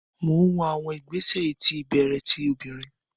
Mo n wo awọn igbesẹ iti ibẹrẹ ti obinrin